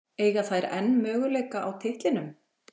Eiga þær enn möguleika á titlinum?